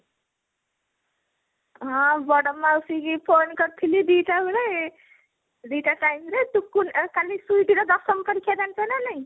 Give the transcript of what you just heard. ହଁ ବଡ ମାଉସୀ ଙ୍କୁ phone କରିଥିଲି ଦି ଟା ବେଳେ ଦି ଟା time ରେ ଟୁକୁନା କାଲି ସୁଇଟି ର ଦଶମ ପରୀକ୍ଷା ଜାଣିଛ ନା ନାହିଁ ?